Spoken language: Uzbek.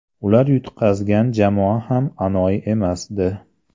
Ular yutqazgan jamoa ham anoyi emasdi.